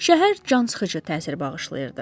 Şəhər cansıxıcı təsir bağışlayırdı.